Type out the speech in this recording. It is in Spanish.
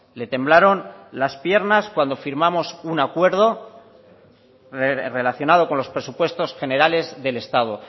le temblaron las piernas cuando firmamos un acuerdo relacionado con los presupuestos generales del estado